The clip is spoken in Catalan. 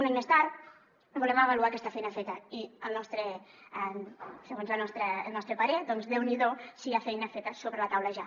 un any més tard volem avaluar aquesta feina feta i segons el nostre parer doncs déu n’hi do si hi ha feina feta sobre la taula ja